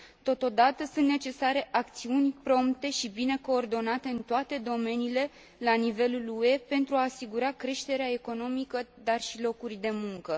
Totodată, sunt necesare acțiuni prompte și bine coordonate în toate domeniile la nivelul UE pentru a asigura creșterea economică, dar și locuri de muncă.